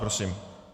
Prosím.